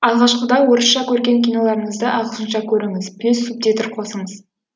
алғашқыда орысша көрген киноларыңызды ағылшынша көріңіз плюс субтитр қосыңыз